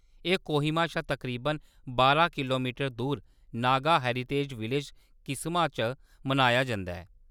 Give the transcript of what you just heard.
एह्‌‌ कोहिमा शा तकरीबन बारां किलोमीटर दूर नागा हेरिटेज विलेज, किसमा च मनाया जंदा ऐ।